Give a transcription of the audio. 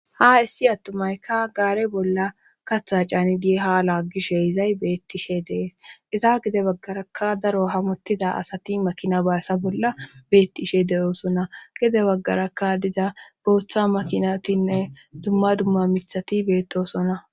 Ha issi attumayka gaare bolla katha cani dihaala gishe izay beettishe dees iza gide baggarakka daro hamottiza asati makina baassa bolla beettishe de'oosona gide baggarakka diza booththa makinatinne dumma dumma mithati beettosona.